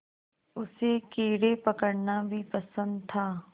उसे कीड़े पकड़ना भी पसंद था